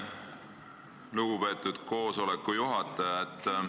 Lugupeetud koosoleku juhataja!